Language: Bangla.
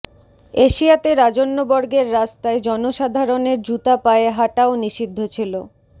এশিয়াতে রাজন্যবর্গের রাস্তায় জনসাধারণের জুতা পায়ে হাটাও নিষিদ্ধ ছিল